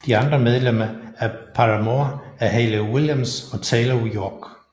De andre medlemmer af Paramore er Hayley Williams og Taylor York